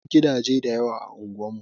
Babu gidaje da yawa a unguwar mu.